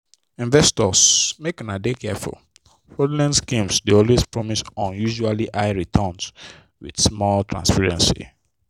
investors make una dey careful fraudulent schemes dey always promise unusually high returns with small transparency.